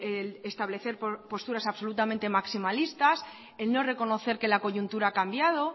el establecer posturas absolutamente maximalistas en no reconocer que la coyuntura ha cambiado